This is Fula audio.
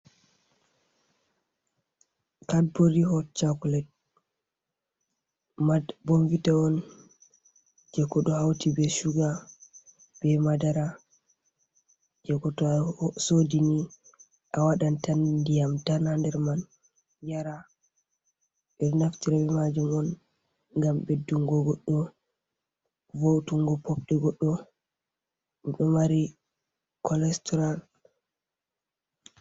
Cardborri hot chocolate, bornvita on je ko ɗo hauti be shuga be madara, je ko to asodini a waɗan tan ndiyam tan ha nder man yara, ɓe ɗo naftira be majum on ngam ɓeddungo, goɗɗo vo,'utungo popɗe goɗɗo ɗo mari colastral.